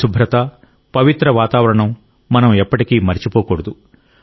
పరిశుభ్రత పవిత్ర వాతావరణం మనం ఎప్పటికీ మరచిపోకూడదు